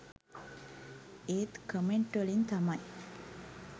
ඒත් කමෙන්ට් වලින් තමයි